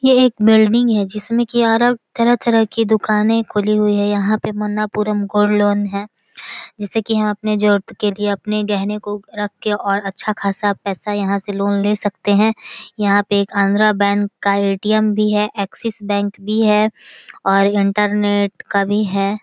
ये एक बिल्डिंग है जिसमे अलग तरह तरह की दुकानें खुली हुई हैं | यहाँ पर मन्नापुरम्म गोल्ड लोन है जिसे की हम अपने ज़रुरत के लिए अपने गेहने को रख के और अच्छा खासा पैसा यहाँ से पैसा यहाँ से लोन ले सकते हैं | यहाँ पर एक आंध्रा बैंक का ए.टी.एम. भी हैऐक्सिस बैंक भी है और इंटरनेट का भी है ।